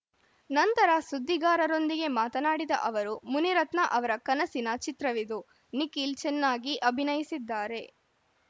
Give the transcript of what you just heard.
ನಂತರ ಸುದ್ದಿಗಾರರೊಂದಿಗೆ ಮಾತನಾಡಿದ ಅವರು ಮುನಿರತ್ನ ಅವರ ಕನಸಿನ ಚಿತ್ರವಿದು ನಿಖಿಲ್‌ ಚೆನ್ನಾಗಿ ಅಭಿನಯಿಸಿದ್ದಾರೆ